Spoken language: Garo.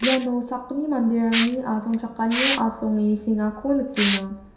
iano sakgni manderangni asongchakanio asonge sengako nikenga.